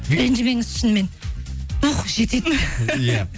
ренжімеңіз шынымен дух жетеді иә